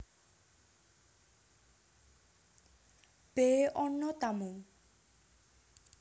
B Ana tamu